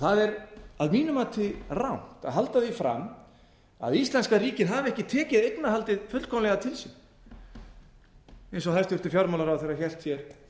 það er að mínu mati rangt að halda því fram að íslenska ríkið hafi ekki tekið eignarhaldið fullkomlega til sín eins og hæstvirtur fjármálaráðherra hélt hér